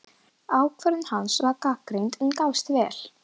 Ákvörðun hans var gagnrýnd, en gafst vel.